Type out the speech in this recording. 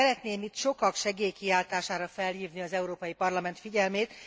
Szeretném itt sokak segélykiáltására felhívni az Európai Parlament figyelmét.